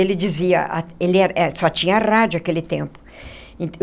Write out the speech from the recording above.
Ele dizia a ele... Só tinha rádio naquele tempo.